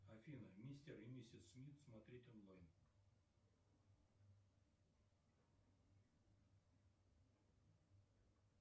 афина мистер и миссис смит смотреть онлайн